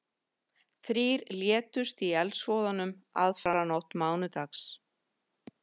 Þrír létust í eldsvoðanum aðfararnótt mánudags